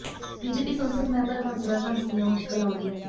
BJP ਸੰਸਦ member Hans Raj Hans ਦੀਆਂ ਮੁਸ਼ਕਲਾਂ ਵਧੀਆਂ